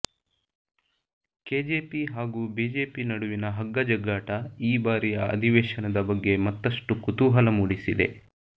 KJP ಹಾಗೂ BJP ನಡುವಿನ ಹಗ್ಗಜಗ್ಗಾಟ ಈ ಬಾರಿಯ ಅಧಿವೇಶನದ ಬಗ್ಗೆ ಮತ್ತಷ್ಟು ಕುತೂಹಲ ಮೂಡಿಸಿದೆ